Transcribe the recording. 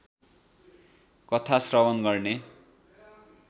कथा श्रवण गर्ने